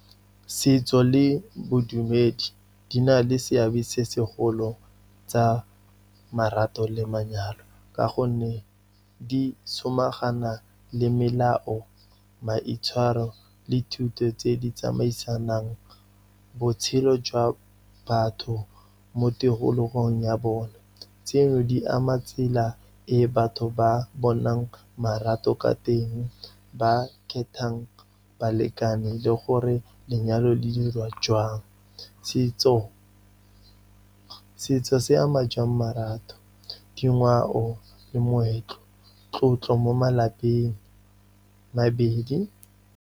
Setso le bodumedi di na le seabe se segolo tsa marato le manyalo, ka gonne di somagana le melao, maitshwaro le thuto tse di tsamaisanang. Botshelo jwa batho mo tikologong ya bone, tseno di ama tsela e batho ba bonang marato ka teng, ba khethang balekane le gore lenyalo le diriwa jwang. Setso se ama jwang marato, dingwao le moetlo, tlotlo mo malapeng, mabedi.